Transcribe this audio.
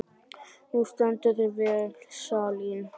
Þú stendur þig vel, Salín!